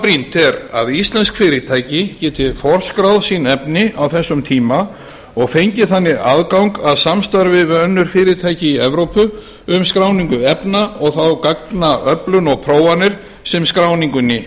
brýnt er að íslensk fyrirtæki geti forskráð sín efni á þessum tíma og fengið þannig aðgang að samstarfi við önnur fyrirtæki í evrópu um skráningu efna og þá gagnaöflun og prófanir sem skráningunni